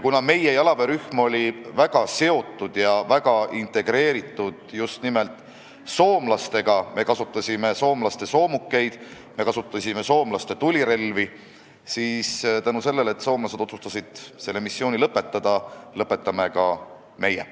Meie jalaväerühm oli väga seotud just nimelt soomlastega – me kasutasime nende soomukeid ja nende tulirelvi – ja kuna soomlased otsustasid selle missiooni lõpetada, siis lõpetame ka meie.